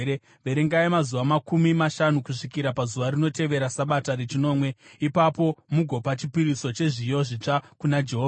Verengai mazuva makumi mashanu kusvika pazuva rinotevera Sabata rechinomwe, ipapo mugopa chipiriso chezviyo zvitsva kuna Jehovha.